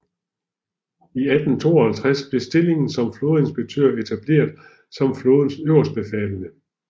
I 1852 blev stillingen som Flådeinspektør etableret som flådens øverstbefalende